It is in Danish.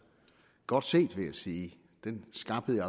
godt set vil jeg sige den skarphed